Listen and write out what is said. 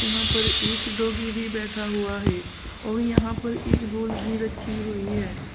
यहाँ पर एक डॉगी भी बैठा हुआ है और यहां पर एक बोल भी रखी हुई हे।